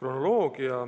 kronoloogia.